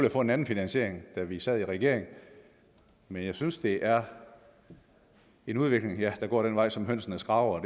at få en anden finansiering da vi sad i regering men jeg synes det er en udvikling der går den vej som hønsene skraber